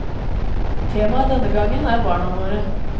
Temaet denne gangen er barna våre.